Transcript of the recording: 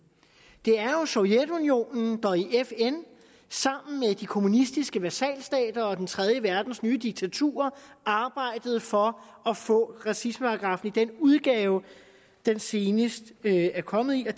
det er jo sovjetunionen der i fn sammen med de kommunistiske vasalstater og den tredje verdens nye diktaturer arbejdede for at få racismeparagraffen i den udgave den senest er kommet i og